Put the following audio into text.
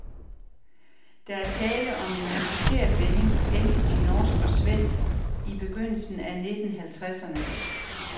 Der er tale om en importeret vending, hentet i norsk og svensk i begyndelsen af nitten halvtredserne.